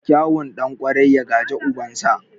Kyawun ɗan ƙwarai, ya gaji ubansa.